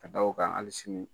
Ka da o kan, hali sini